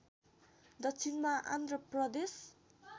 दक्षिणमा आन्ध्र प्रदेश